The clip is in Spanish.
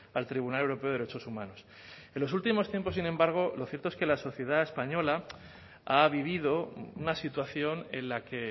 al tribunal europeo de derechos humanos en los últimos tiempos sin embargo lo cierto es que la sociedad española ha vivido una situación en la que